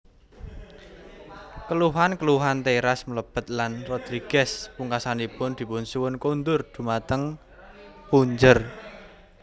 Keluhan keluhan teras mlebet lan Rodrigues pungkasanipun dipunsuwun kundur dhumateng punjer